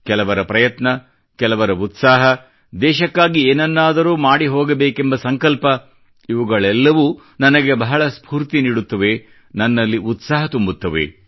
ಕೆಲವರ ಪ್ರಯತ್ನ ಕೆಲವರ ಉತ್ಸಾಹ ದೇಶಕ್ಕಾಗಿ ಏನನ್ನಾದರೂ ಮಾಡಿ ಹೋಗಬೇಕೆಂಬ ಸಂಕಲ್ಪ ಇವುಗಳೆಲ್ಲವೂ ನನಗೆ ಬಹಳ ಸ್ಫೂರ್ತಿ ನೀಡುತ್ತವೆ ನನ್ನಲ್ಲಿ ಉತ್ಸಾಹ ತುಂಬುತ್ತವೆ